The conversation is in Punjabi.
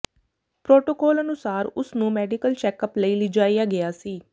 ਪ੍ਰੋਟੋਕੋਲ ਅਨੁਸਾਰ ਉਸਨੂੰ ਮੈਡੀਕਲ ਚੈਕਅਪ ਲਈ ਲਿਜਾਇਆ ਗਿਆ ਸੀ